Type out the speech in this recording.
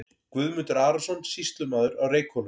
Guðmundur Arason, sýslumaður á Reykhólum.